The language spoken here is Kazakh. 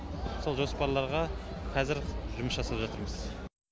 сол жоспарларға қазір жұмыс жасап жатырмыз